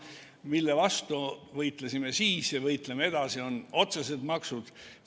Mille vastu võitlesime siis ja võitleme edasi, on otsesed maksud.